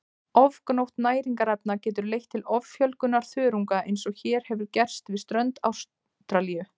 Ofgnótt næringarefna getur leitt til offjölgunar þörunga eins og hér hefur gerst við strönd Ástralíu.